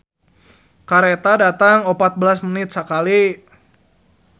"Kareta datang opat belas menit sakali"